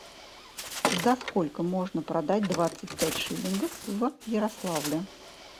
за сколько можно продать двадцать пять шиллингов в ярославле